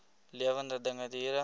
lewende dinge diere